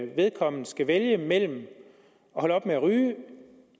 vedkommende skal vælge mellem at holde op med at ryge